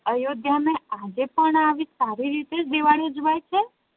અયોધ્યા મા આજે પણ આવી સારી રીતે જ દિવાળી ઉજવાય છે